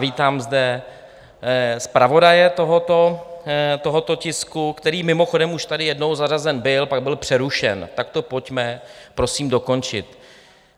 Vítám zde zpravodaje tohoto tisku, který mimochodem už tady jednou zařazen byl, pak byl přerušen, tak to pojďme prosím dokončit.